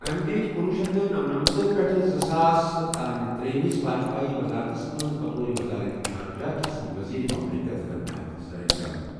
أمہِ دِتہِ کُنۄہ شیتھ نمنمتسَ پٮ۪ٹھٕ زٕساس تانۍ ترٛیٚیِمس واجپایی وَزارتس منٛز بطور وَزارت خارجہ کِس ؤزیٖرِ مملِکت خٕدمات سرانٛجام ۔